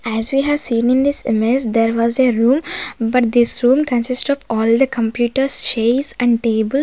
as we have seen in this image there was a room but this room consist of all the complete of chairs and tables.